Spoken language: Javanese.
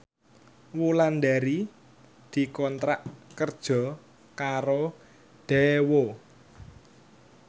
Wulandari dikontrak kerja karo Daewoo